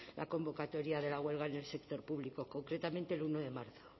la convocatoria de la huelga en el sector público concretamente el uno de marzo